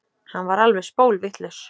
Hann var alveg spólvitlaus.